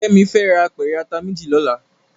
Kemi fè rá ápèrè àtá méjí lòlá